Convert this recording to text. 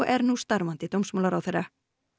er nú starfandi dómsmálaráðherra